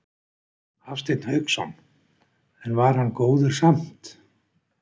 Hafsteinn Hauksson: En var hann góður samt?